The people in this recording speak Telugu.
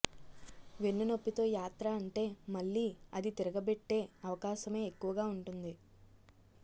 వెన్ను నొప్పితో యాత్ర అంటే మళ్లీ అది తిరగబెట్టే అవకాశమే ఎక్కువగా ఉంటుంది